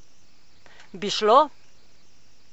Bi šlo?